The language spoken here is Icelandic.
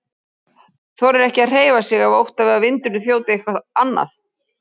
Þorir ekki að hreyfa sig af ótta við að vindurinn þjóti eitthvað annað.